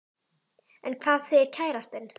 En hvað segir kærastinn?